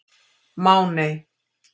Máney